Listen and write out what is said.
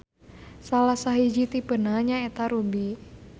Salah sahiji tipena nyaeta ruby.